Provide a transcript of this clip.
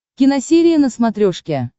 киносерия на смотрешке